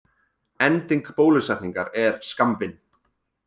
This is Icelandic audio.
Ending bólusetningar er skammvinn.